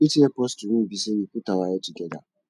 wetin help us to win be say we put our head together